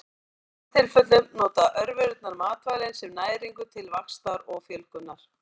Í flestum tilfellum nota örverurnar matvælin sem næringu til vaxtar og fjölgunar.